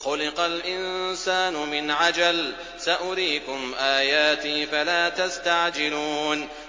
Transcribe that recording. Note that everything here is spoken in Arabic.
خُلِقَ الْإِنسَانُ مِنْ عَجَلٍ ۚ سَأُرِيكُمْ آيَاتِي فَلَا تَسْتَعْجِلُونِ